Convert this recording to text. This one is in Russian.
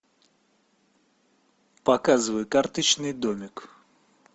показывай карточный домик